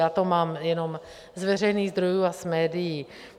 Já to mám jenom z veřejných zdrojů a z médií.